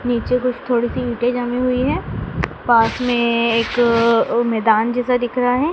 नीचे कुछ थोड़ी सी ईंटे जमी हुई है पास में एक अह मैदान जैसा दिख रहा है।